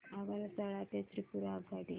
आगरतळा ते त्रिपुरा आगगाडी